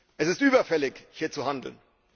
Es ist überfällig, hier zu handeln.